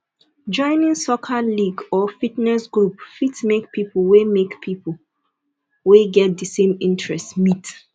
joining soccer league or fitness group fit make people wey make people wey get the same interest meet